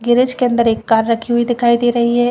Garage के एक अंदर कार रखी हुई दिखाई दे रही है।